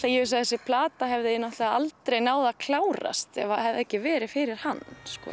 að ég held að þessi plata hefði aldrei klárast ef það hefði ekki verið fyrir hann